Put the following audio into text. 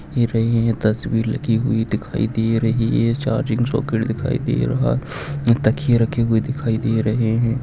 हे रही तस्वीर लगी हुई दिखाई दे रही है। चार्जिंग सॉकेट दिखाई दे रहा तक्कीये रखे हुए दिखाई दे रहे है।